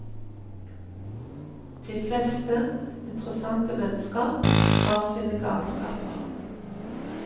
De fleste interessante mennesker har sine galskaper.